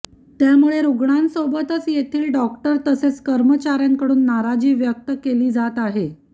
त्यामुळे रुग्णांसोबतच येथील डॉक्टर तसेच कर्मचार्यांकडून नाराजी व्यक्त केली जात आहे